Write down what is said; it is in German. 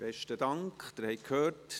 Sie haben es gehört: